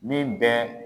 Min bɛ